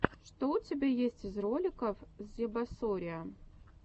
что у тебя есть из роликов зебасориа